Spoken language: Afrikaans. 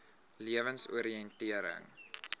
lewensoriëntering